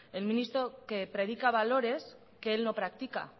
wert el ministro que predica valores que él no practica